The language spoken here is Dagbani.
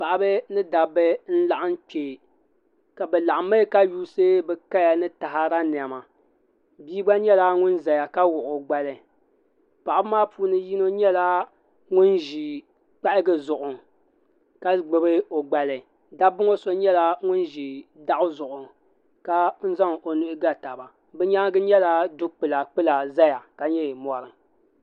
paɣaba ni dabba n laɣim kpɛ bi laɣimi ka yuusi bi kaya ni taɣada niɛma bia gba nyɛla ŋun zaya ka wuɣi o gbali paɣaba maa puuni yino nyɛla ŋun ʒi kpahigi zuɣu ka gbubi o gbali dabbaŋɔ so nyɛla ŋun ʒi daɣu zuɣu ka zaŋ o nuhi ga taba bi nyaangi nyɛla du kpula kpula zaya ka nyɛ mori.